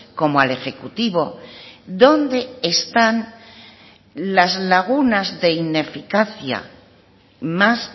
como al ejecutivo dónde están las lagunas de ineficacia más